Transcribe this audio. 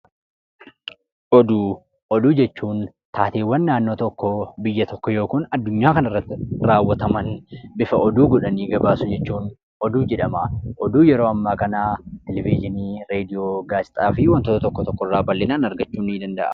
Oduu: Oduu jechuun taateewwan naannoo tokkoo, biyya tokkoo yookan addunyaa kanarratti raawwataman bifa oduu godhanii gabaasuu jechuun oduu jedhamaa. Oduun yeroo ammaa kanaa televizhinii, raadiyoo, gaazexaa fi wantoota tokko tokko irraa bal'inaan argachuun ni danda'ama.